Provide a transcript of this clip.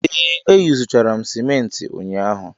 Ee, eyuzuchara m simenti ụnyaahụ.